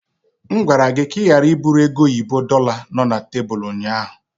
M gwara gị ka ị ghara iburu oge oyibo dorlar no na tebụl ụnyaahụ!